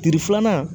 Tile filanan